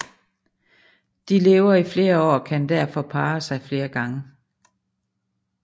De lever i flere år og kan derfor parre sig flere gange